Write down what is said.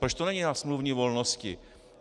Proč to není na smluvní volnosti?